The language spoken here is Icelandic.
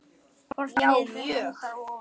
Hvort liðið endar ofar?